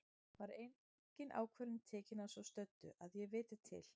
Var engin ákvörðun tekin að svo stöddu, að ég viti til.